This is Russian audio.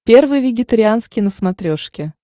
первый вегетарианский на смотрешке